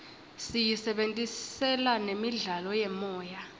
siyisebentisela nemidlalo yemoya